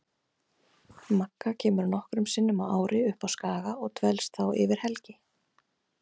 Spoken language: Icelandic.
Magga kemur nokkrum sinnum á ári upp á Skaga og dvelst þá yfir helgi.